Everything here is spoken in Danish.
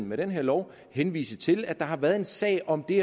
med den her lov henvise til at der har været en sag om det